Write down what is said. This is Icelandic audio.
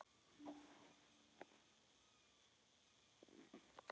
Það hafi því miður gerst.